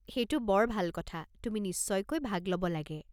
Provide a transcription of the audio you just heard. সেইটো বৰ ভাল কথা, তুমি নিশ্চয়কৈ ভাগ ল'ব লাগে।